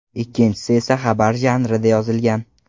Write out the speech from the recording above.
Ikkinchisi esa xabar janrida yozilgan.